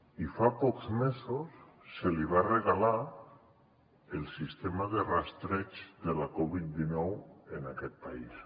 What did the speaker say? i fa pocs mesos se li va regalar el sistema de rastreig de la covid dinou en aquest país